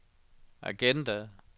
agenda